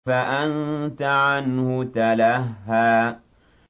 فَأَنتَ عَنْهُ تَلَهَّىٰ